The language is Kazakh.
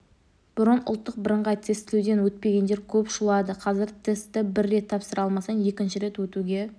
бұрын ұлттық бірыңғай тестілеуден өтпегендер көп шулады қазір тестті бір рет тапсыра алмасаң екінші рет өтуге